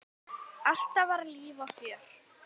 Alltaf var líf og fjör.